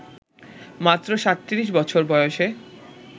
মাত্র ৩৭ বছর বয়সে